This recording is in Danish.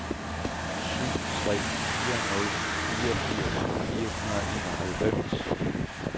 syv tre fire nul fireogfirs fire hundrede og enoghalvfems